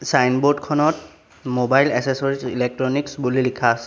Signboard খনত mobile accessories electronics বুলি লিখা আছে।